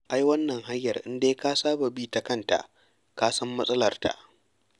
Ai wannan hanyar in dai ka saba bi ta kanta ka san matsalarta.